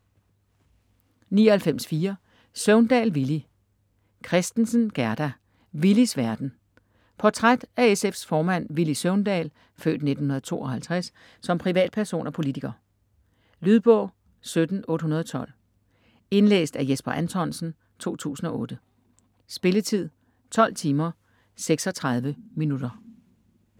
99.4 Søvndal, Villy Kristensen, Gerda: Villys verden Portræt af SF's formand Villy Søvndal (f. 1952) som privatperson og politiker. Lydbog 17812 Indlæst af Jesper Anthonsen, 2008. Spilletid: 12 timer, 36 minutter.